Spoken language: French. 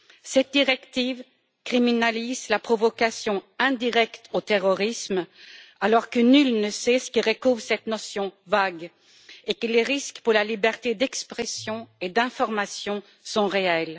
Cette directive criminalise la provocation indirecte au terrorisme alors que nul ne sait ce que recouvre cette notion vague et que les risques pour la liberté d'expression et d'information sont réels.